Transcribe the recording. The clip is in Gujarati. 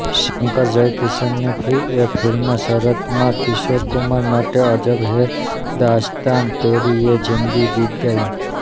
શંકરજયકિશનરફીએ ફિલ્મ શરારત માં કિશોર કુમાર માટે અજબ હૈ દાસ્તાન તેરી યે જિંદગી ગીત ગાયું